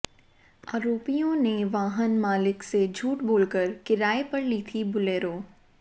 आरोपियों ने वाहन मालिक से झूठ बोलकर किराए पर ली थी बुलेरो